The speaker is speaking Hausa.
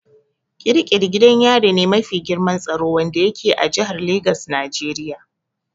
Ƙiri ƙiri gidan yari me mafi girman tsaro wanda yake a jihar Lagos Nigeria.